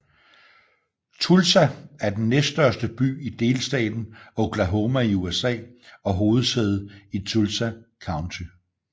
Tulsa er den næststørste by i delstaten Oklahoma i USA og hovedsæde i Tulsa County